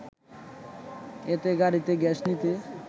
এতে গাড়িতে গ্যাস নিতে